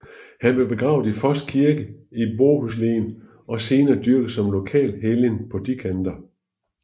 Han blev begravet i Foss kirke i Båhuslen og senere dyrket som lokal helgen på de kanter